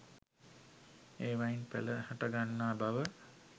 ඒවායින් පැල හටගන්නා බව